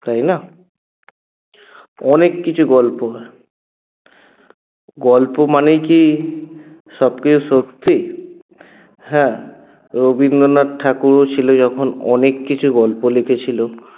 তাই না? অনেককিছু গল্প গল্প মানেই কী সবকিছু সত্যি হ্যাঁ রবিন্দ্রনাথ ঠাকুরও ছিল ‍যখন অনেককিছু গল্প লিখেছিল